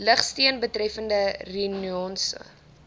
lugsteun betreffende reconnaissance